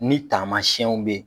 Ni taamayɛnw be ye